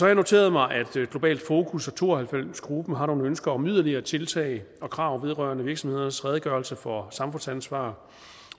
jeg noteret mig at globalt fokus og to og halvfems gruppen har nogle ønsker om yderligere tiltag og krav vedrørende virksomhedernes redegørelse for samfundsansvar